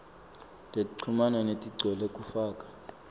tekuchumana letigcwele kufaka